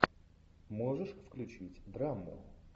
можешь включить драму